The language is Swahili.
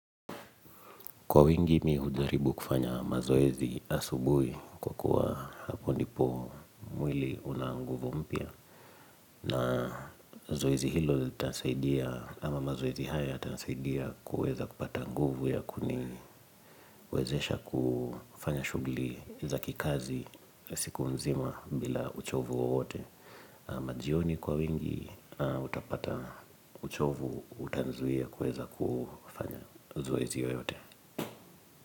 Kwa wingi mimi hujaribu kufanya mazoezi asubuhi kwa kuwa hapo ndipo mwili una nguvu mpya. Na zoezi hilo litasaidia ama mazoezi haya yatanisaidia kuweza kupata nguvu ya kuniwezesha kufanya shughuli za kikazi. Siku nzima bila uchovu wowote ama jioni kwa wingi utapata uchovu utanizuia kuweza kufanya zoezi yoyote.